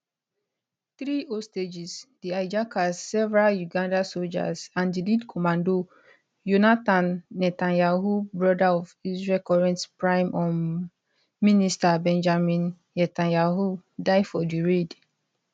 three hostages the hijackers several uganda soldiers and di lead commando yonatan netanyahu brother of israel current prime um minister benjamin netanyahu die for di raid